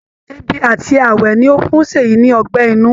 Èbì àti ààwẹ ni ó fún Ṣèyí ní ọgbẹ́ inú